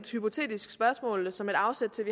hypotetisk spørgsmål som et afsæt til at